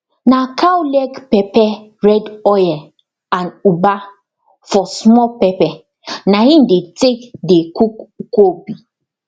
na cow leg pepper red oil and ugba for small pepper na im dey take dey cook nkwobi